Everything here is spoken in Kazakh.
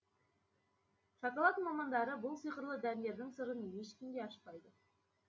шоколад мамандары бұл сиқырлы дәндердің сырын ешкімге ашпайды